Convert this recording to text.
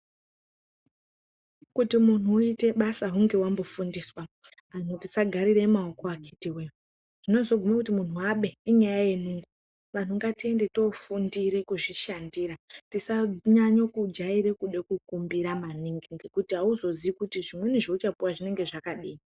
Kuti munhu uite basa hunge wambofundiswa. Anhu tisagarire maoko akiti we-e chinozogume kuti munhu abe inyaya yenungo. Vanhu ngatiende toofundire kuzvishandira. Tisanyanyo kujaire kuda kukumbira maningi ngekuti hauzozii kuti zvimweni zvauchapuwa zvinenge zvakadii.